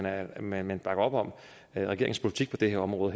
at man bakker op om regeringens politik på det her område